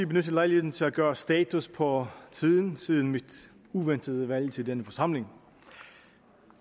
benytte lejligheden til at gøre status for tiden siden mit uventede valg til denne forsamling